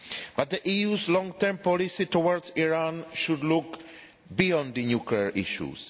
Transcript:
But the EU's long term policy towards Iran should look beyond the nuclear issues.